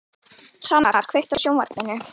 Hvannar, kveiktu á sjónvarpinu.